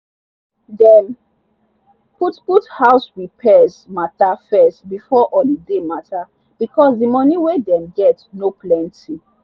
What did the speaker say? dem put put house repairs matter first before holiday matter because the money wey dem get no plenty.